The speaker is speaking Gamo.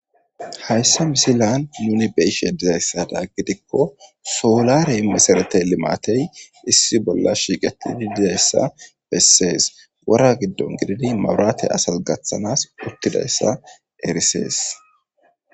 hayssa misilan nuni be'ishe dizayssada gidikko soolarey meseretey limaatey issi bolla shiiqettidi dizayssa bessees wora giddon gididi maburate asas gaththanas uttidayssa erisees